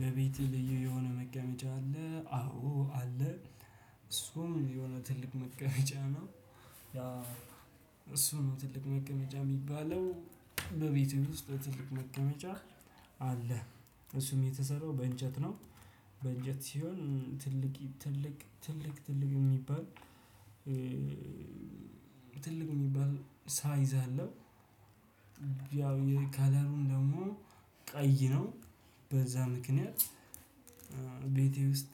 በቤቴ ልዩ የሆነ መቀመጫ አለ አዎ አለ። እሱም የሆነ ትልቅ መቀመጫ ነው። ያ እሱ ነው ትልቅ መቀመጫ የሚባለው በቤቴ ውስጥ ለትልቅ መቀመጫ አለ። እሱም የተሰራው በእንጨት ነው። በእንጨት ሲሆን ትልቅ የሚባል ትልቅ የሚባል ሳይዝ አለው። ያው የከለሩን ደግሞ ቀይ ነው። በዛ ምክንያት ቤቴ ውስጥ